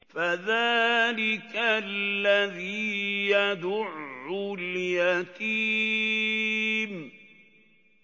فَذَٰلِكَ الَّذِي يَدُعُّ الْيَتِيمَ